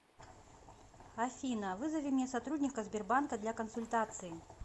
афина вызови мне сотрудника сбербанка для консультации